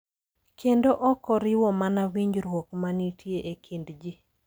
Kendo ok oriwo mana winjruok ma nitie e kind ji.